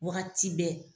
Wagati bɛɛ